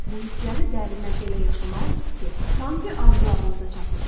Bu hissləri dərindən elə yaşamalısınız ki, sanki arzularınıza çatmışsınız.